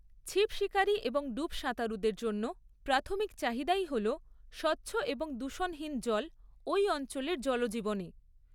ছিপ শিকারী এবং ডুব সাঁতারুদের জন্য প্রাথমিক চাহিদাই হল স্বচ্ছ এবং দূষণহীন জল ঐ অঞ্চলের জলজীবনে।